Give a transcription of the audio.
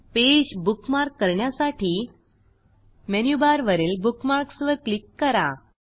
page bookmark करण्यासाठी मेनूबारवरील Bookmarksवर क्लिक करा